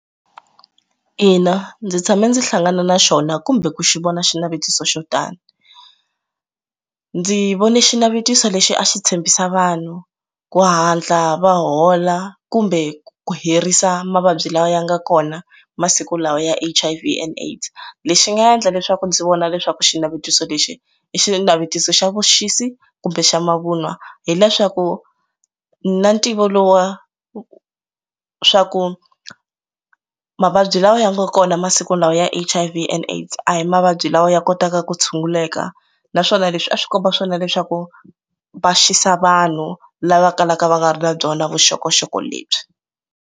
Ina ndzi tshame ndzi hlangana na xona kumbe ku xi vone xinavetiso xo tani ndzi vone xinavetiso lexi a xi tshembisa vanhu ku hatla va hola kumbe ku ku herisa mavabyi lawa ya nga kona masiku lawa ya H_I_V and AIDS lexi nga endla leswaku ndzi vona leswaku xinavetiso lexi i xinavetiso xa vuxisi kumbe xa mavunwa hileswaku na ntivo lowu wa swa ku mavabyi lawa ya nga kona masiku lawa ya H_I_V and AIDS a hi mavabyi lawa ya kotaka ku tshunguleka naswona leswi a swi komba swona leswaku va xisa vanhu lava kalaka va nga ri na byona vuxokoxoko lebyi.